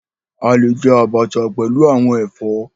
A lè jẹ abacha pẹlú àwọn ẹfọ.